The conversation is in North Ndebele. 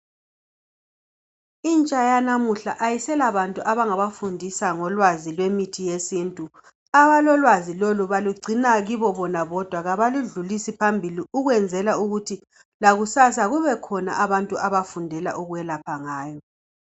Intsha yanamuhla ayisela bantu abangabafundisa ngolwazi lwemithi yesintu abalolwazi lolu balugcina kibo bona bodwa abaludlulisi phambili ukwenzela ukuthi lakusasa kubekhona abantu abafundela ukwelapha ngayo.